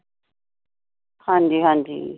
ਹਾਂ ਜੀ ਹਾਂ ਜੀ।